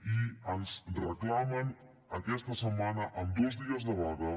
i ens reclamen aquesta setmana amb dos dies de vaga